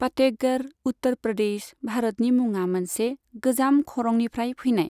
फातेहगढ़, उत्तर प्रदेश, भारतनि मुङा मोनसे गोजाम खरंनिफ्राय फैनाय।